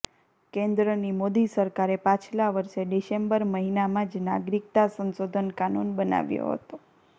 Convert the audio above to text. કેન્દ્રની મોદી સરકારે પાછલા વર્ષે ડિસેમ્બર મહિનામાં જ નાગરિકતા સંશોધન કાનૂન બનાવ્યો હતો